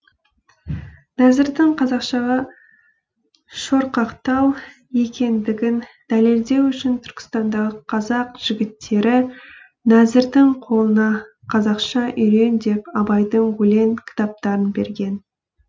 нәзірдің қазақшаға шорқақтау екендігін дәлелдеу үшін түркістандағы қазақ жігіттері нәзірдің қолына қазақша үйрен деп абайдың өлең кітаптарын берген